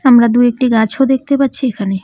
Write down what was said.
আমরা দু-একটি গাছও দেখতে পাচ্ছি এইখানে।